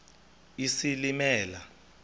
isilimela